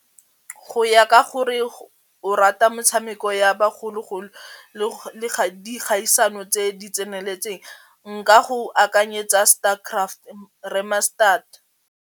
Go ya ka gore o rata metshameko ya bagologolo le dikgaisano tse di tseneletseng nka go akanyetsa star craft re-mastered.